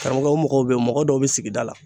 Karamɔgɔw o mɔgɔw bɛ yen mɔgɔ dɔw bɛ sigida la